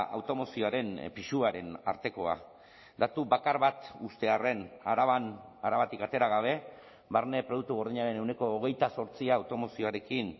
automozioaren pisuaren artekoa datu bakar bat uztearren araban arabatik atera gabe barne produktu gordinaren ehuneko hogeita zortzia automozioarekin